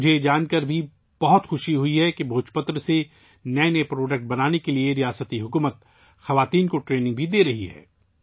مجھے یہ جان کر بھی خوشی ہوئی کہ ریاستی حکومت خواتین کو بھوج پتر سے نئی نئی مصنوعات بنانے کی تربیت بھی دے رہی ہے